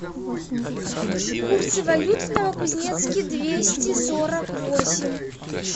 курсы валют в новокузнецке двести сорок восемь